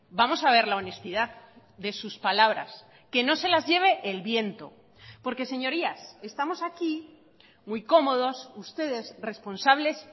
vamos a ver la honestidad de sus palabras que no se las lleve el viento porque señorías estamos aquí muy cómodos ustedes responsables